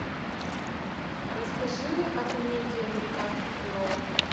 расскажи о комедии американский пирог